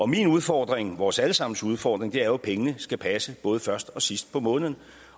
min udfordring og vores alle sammens udfordring er jo at pengene skal passe både først og sidst på måneden